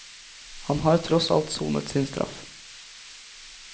Han har tross alt sonet sin straff.